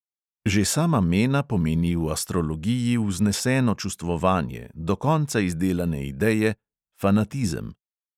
Že sama mena pomeni v astrologiji vzneseno čustvovanje, do konca izdelane ideje, fanatizem.